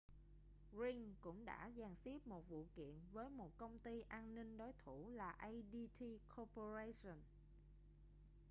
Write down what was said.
ring cũng đã dàn xếp một vụ kiện với một công ty an ninh đối thủ là adt corporation